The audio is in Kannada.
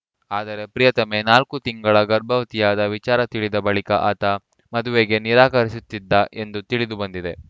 ಆದರೆ ಪ್ರಿಯತಮೆ ನಾಲ್ಕು ತಿಂಗಳ ಗರ್ಭವತಿಯಾದ ವಿಚಾರ ತಿಳಿದ ಬಳಿಕ ಆತ ಮದುವೆಗೆ ನಿರಾಕರಿಸುತ್ತಿದ್ದ ಎಂದು ತಿಳಿದು ಬಂದಿದೆ